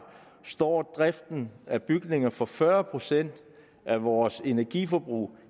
står driften af bygninger for fyrre procent af vores energiforbrug